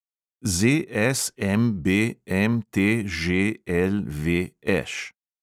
ZSMBMTŽLVŠ